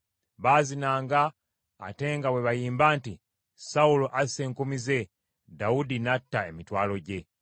Baazinanga ate nga bwe bayimba nti, “Sawulo asse enkumi ze Dawudi n’atta emitwalo gye.”